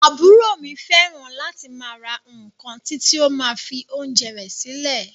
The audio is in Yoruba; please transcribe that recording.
Àbúrò mi fẹràn láti máa ra nkán titi o ma fi oúnjẹ rẹ silẹ.